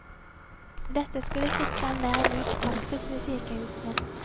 Dette skulle sikre en mer lik praksis ved sykehusene.